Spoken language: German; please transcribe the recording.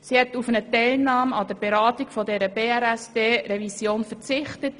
Sie hat auf eine Teilnahme an der Beratung dieser BRSD-Revision verzichtet.